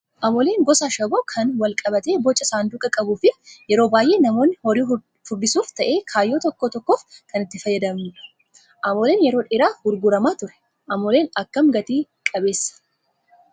Amooleen gosa ashaboo kan wal qabatee Boca saanduqaa qabuu fi yeroo baay'ee namoonni horii furdisuufis ta'ee kaayyoo tokko tokkoof kan itti fayyadamnudha. Amooleen yeroo dheeraaf gurguramaa ture. Amooleen akkam Gati qabeessaa